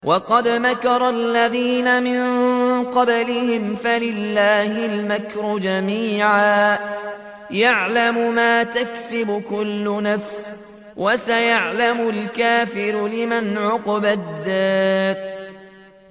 وَقَدْ مَكَرَ الَّذِينَ مِن قَبْلِهِمْ فَلِلَّهِ الْمَكْرُ جَمِيعًا ۖ يَعْلَمُ مَا تَكْسِبُ كُلُّ نَفْسٍ ۗ وَسَيَعْلَمُ الْكُفَّارُ لِمَنْ عُقْبَى الدَّارِ